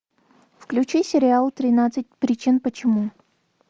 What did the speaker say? включи сериал тринадцать причин почему